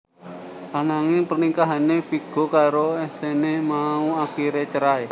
Ananging pernikahané Viggo karo Exene mau akiré cerai